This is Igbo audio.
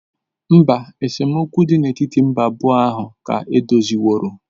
Mba, esemokwu dị n'etiti mba abụọ ahụ ka edoziworo.